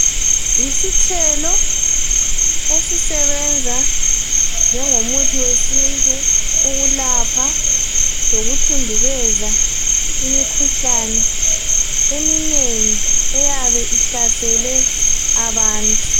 Isithelo esisebenza njengomuthi wesintu ukulapha lokuthundubeza imikhuhlane eminengi eyabe ihlasele abantu.